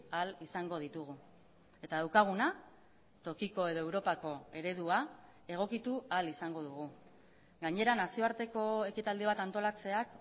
ahal izango ditugu eta daukaguna tokiko edo europako eredua egokitu ahal izango dugu gainera nazioarteko ekitaldi bat antolatzeak